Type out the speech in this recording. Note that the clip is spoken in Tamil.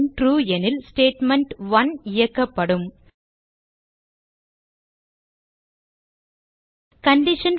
ட்ரூ எனில் ஸ்டேட்மெண்ட்1 இயக்கப்படும் கண்டிஷன்